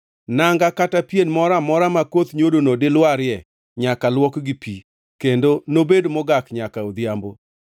Nanga kata pien moro amora ma koth nyodono dilwarie nyaka luok gi pi, kendo nobed mogak nyaka odhiambo.